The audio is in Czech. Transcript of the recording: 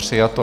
Přijato.